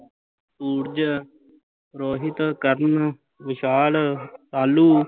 Suraj Rohit, Karan, Vishal, ਤਾਲੂ